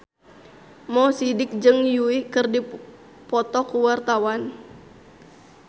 Mo Sidik jeung Yui keur dipoto ku wartawan